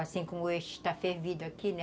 Assim como este está fervido aqui, né?